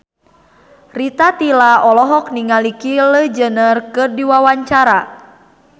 Rita Tila olohok ningali Kylie Jenner keur diwawancara